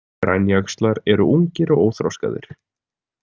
Grænjaxlar eru ungir og óþroskaðir.